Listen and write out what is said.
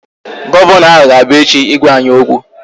Gọvanọ ahụ ga-abia echi ịgwa anyị okwu